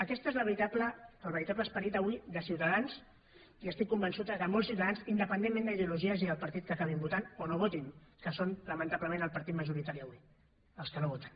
aquest és el veritable esperit avui de ciutadans i estic convençut que de molts ciutadans independentment d’ideologies i del partit que acabin votant o no votin que són lamentablement el partit majoritari avui els que no voten